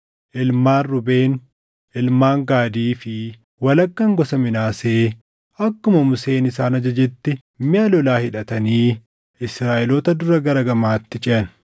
Ilmaan Ruubeen, ilmaan Gaadii fi walakkaan gosa Minaasee akkuma Museen isaan ajajetti miʼa lolaa hidhatanii Israaʼeloota dura gara gamaatti ceʼan.